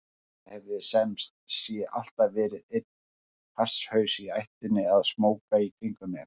Það hafði sem sé alltaf verið einn hasshaus í ættinni að smóka í kringum mig.